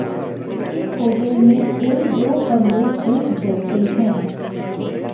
इस होटल में कोई दो कमरे एक जैसे हैं